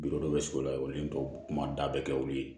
dɔ bɛ sigi o la olu kuma da bɛ kɛ olu ye